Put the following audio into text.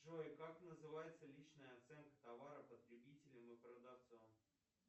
джой как называется личная оценка товаров потребителем и продавцом